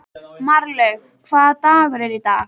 Marlaug, hvaða dagur er í dag?